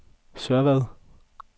Sørvad